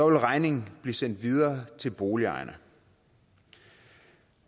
vil regningen blive sendt videre til boligejerne